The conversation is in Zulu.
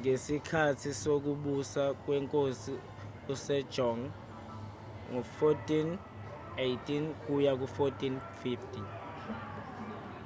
ngesikhathi sokubusa kwenkosi usejong 1418 – 1450